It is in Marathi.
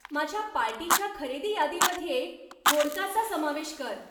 माझ्या पार्टीच्या खरेदी यादीमध्ये व्होडकाचा समावेश कर